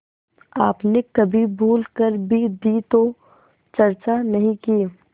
आपने कभी भूल कर भी दी तो चर्चा नहीं की